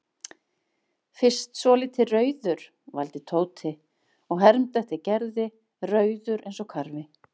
Fyrst svolítið rauður vældi Tóti og hermdi eftir Gerði, rauður eins og karfi.